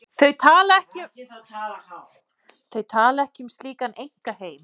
Þau tala ekki um slíkan einkaheim.